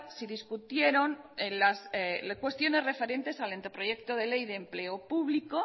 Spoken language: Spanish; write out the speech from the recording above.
se discutieron cuestiones referentes al anteproyecto de ley de empleo público